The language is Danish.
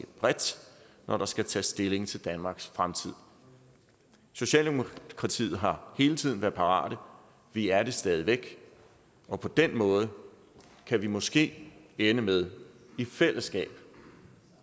bredt når der skal tages stilling til danmarks fremtid socialdemokratiet har hele tiden været parate vi er det stadig væk og på den måde kan vi måske ende med i fællesskab